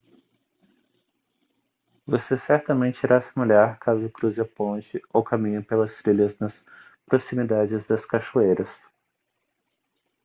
você certamente irá se molhar caso cruze a ponte ou caminhe pelas trilhas nas proximidades das cachoeiras